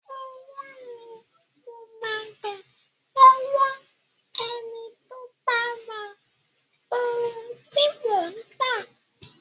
Owó ni mo máa gba lọ́wọ́ ẹni tó bá ra ohun tí mò ń tà..